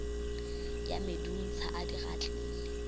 ya medunsa a di gatlile